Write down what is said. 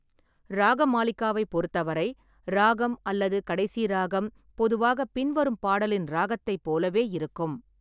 ராகமாலிகாவைப் பொறுத்தவரை ராகம் அல்லது கடைசி ராகம் பொதுவாகப் பின்வரும் பாடலின் ராகத்தைப் போலவே இருக்கும்.